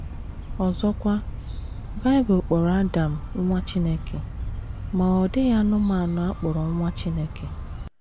Ọzọkwa, Bible kpọrọ Adam “ nwa Chineke, ” ma ọ dịghị anụmanụ a kpọrọ nwa Chineke.